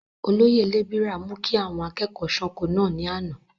olóyè lébìrà mú kí àwọn akẹ́kọ̀ọ́ sánko náà ní àná